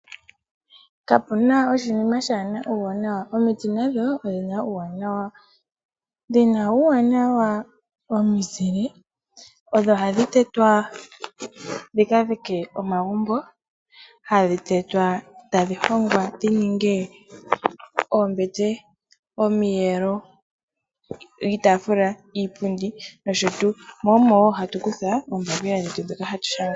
Kapuna oshinima kashina uuwanawa. Omiti nadho odhina uuwanawa ,dhina uuwanawa womuzile, odho hadhi tetwa dhikadhike omagumbo ,hadhi tetwa tadhi hongwa dhininge oombete iitafula nosho tuu ,mo omo woo hatu kutha oombapila ndhoka hatu shanga.